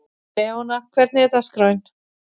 Leona, hvernig er dagskráin?